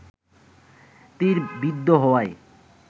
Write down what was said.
তির বিদ্ধ হওয়ায়